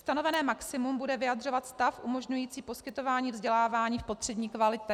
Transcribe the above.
Stanovené maximum bude vyjadřovat stav umožňující poskytování vzdělávání v potřebné kvalitě.